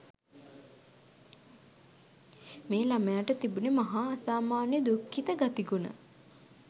මේ ළමයාට තිබුණේ් මහා අසාමාන්‍ය දුක්ඛිත ගතිගුණ.